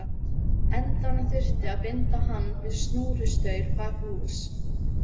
endanum þurfti að binda hann við snúrustaur bak við hús.